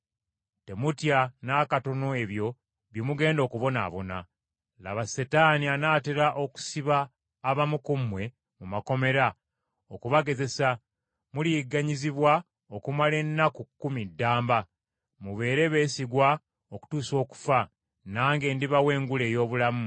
Temutya n’akatono ebyo bye mugenda okubonaabona. Laba Setaani anaatera okusiba abamu ku mmwe mu makomera okubagezesa. Muliyigganyizibwa okumala ennaku kumi ddamba. Mubeere beesigwa okutuusa okufa, nange ndibawa engule ey’obulamu.